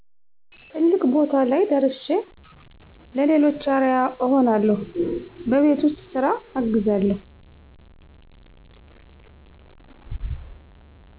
ትልቅ ቦታ ላይ ደርሸ ለሌሎች አርያ እሆናለሁ በቤት ውስጥ ስራ አግዛለሁ